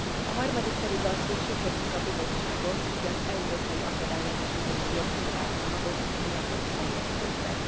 A harmadik pedig az, hogy sürgetjük a Bizottságot, hogy az európai akadálymentesítési jogszabálycsomagot mielőbb terjesszék be.